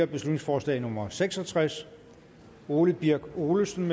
beslutningsforslag nummer b seks og tres ole birk olesen